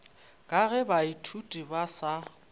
ka ge baithuti ba sa